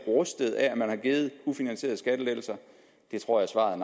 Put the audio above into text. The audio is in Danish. rustet af at man har givet ufinansierede skattelettelser jeg tror at svaret